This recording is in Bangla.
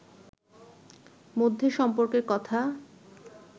মধ্যে সম্পর্কের কথা